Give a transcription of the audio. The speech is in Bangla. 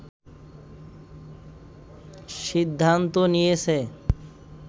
সিদ্ধান্ত নিয়েছে